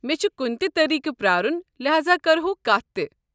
مےٚ چھُ کُنہِ تہِ طریقہٕ پرٛارُن لہاذا كرہو كتھ تہِ۔